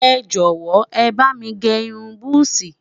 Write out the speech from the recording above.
ẹjọ wò, é bá mí gé irún buzi